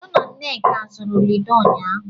Ee, mụ na nneka zụrụ Lido ụnyaahụ.